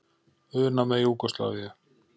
una með Júgóslavíu.